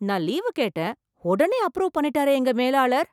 நான் லீவு கேட்டேன் உடனே அப்ரூவ் பண்ணிட்டாரே எங்க மேலாளர்!